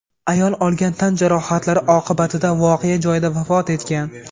Ayol olgan tan jarohatlari oqibatida voqea joyida vafot etgan.